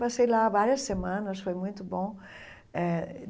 Passei lá várias semanas, foi muito bom eh.